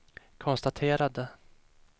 konstaterade